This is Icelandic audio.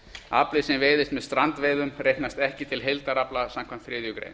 afli sem veiðist með strandveiðum reiknast ekki til heildarafla samkvæmt þriðju grein